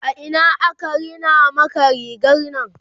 a Ina aka Rina Maka rigarnan?